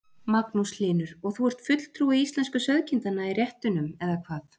Magnús Hlynur: Og þú ert fulltrúi íslensku sauðkindanna í réttunum eða hvað?